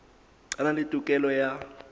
a na le tokelo ya